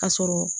Ka sɔrɔ